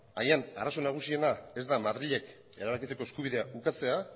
agian arazo nagusiena ez da madrilek erabakitzeko eskubidea ukatzea